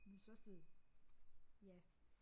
Min største ja